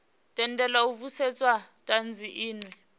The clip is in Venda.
tendelwa u vhudzisa thanzi inwe